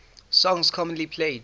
songs commonly played